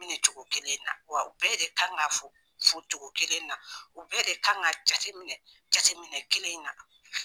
Nin cogo kelen na, wa u bɛɛ de kan ka fɔ fɔ cogo kelen na ,u bɛɛ de kan ka jateminɛ jateminɛ cogo kelen in na.